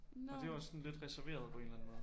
Og de jo også sådan lidt reserveret på en eller anden måde